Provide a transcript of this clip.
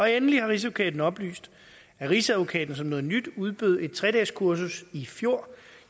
endelig har rigsadvokaten oplyst at rigsadvokaten som noget nyt udbød et tredageskursus i fjor